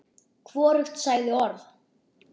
Hvorugt sagði orð.